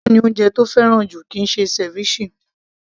Tákò ni oúnjẹ tó fẹ́ràn jù kìí ṣe ceviche